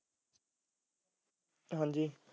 ਹਾਂਜੀ